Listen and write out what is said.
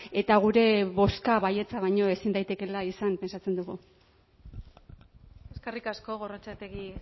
eta gure bozka baietza baino ezin daitekeela izan pentsatzen dugu eskerrik asko gorrotxategi